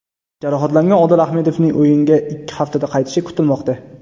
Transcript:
Jarohatlangan Odil Ahmedovning o‘yinga ikki haftada qaytishi kutilmoqda.